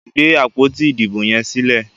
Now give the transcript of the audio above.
gbé àpótí Ìdìbò yes sílè!